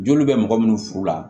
Joli bɛ mɔgɔ minnu furu la